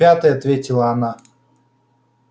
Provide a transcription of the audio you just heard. в пятый ответила она